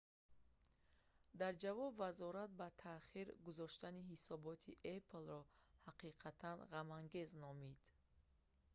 дар ҷавоб вазорат ба таъхир гузоштани ҳисоботи apple-ро ҳақиқатан ғамангез номид